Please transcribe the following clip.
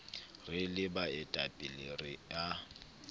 re le baetapele re a